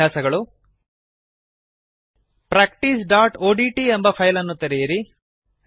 ಅಭ್ಯಾಸಗಳು practiceಒಡಿಟಿ ಎಂಬ ಫೈಲ್ ಅನ್ನು ತೆರೆಯಿರಿ